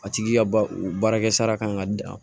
A tigi ka ba u baarakɛ sara kan ka